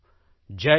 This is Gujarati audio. જયહિંદ